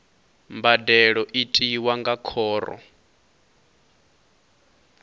mbadelo i tiwa nga khoro